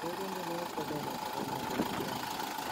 ureren tiennywogik chelelach chebo nadia mukami